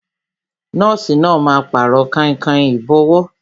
Nọ́ọ̀sì náà máa Pàrọ̀ kainkain ìbọ́wọ́